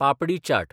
papdi chaat papdi chaat